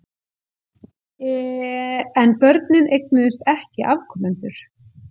En börnin eignuðust ekki afkomendur.